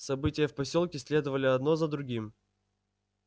события в посёлке следовали одно за другим